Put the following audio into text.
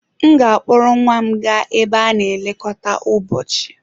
M ga-akpọrọ nwa m gaa ebe a na-elekọta ụbọchị.